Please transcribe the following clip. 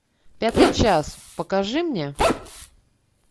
пятый час покажи мне